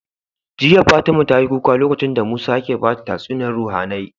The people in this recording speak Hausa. Jiya fatima tayi kuka lokacin da musa yake bada tatsuniyar ruhAnai